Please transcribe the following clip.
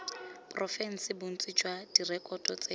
porofense bontsi jwa direkoto tseno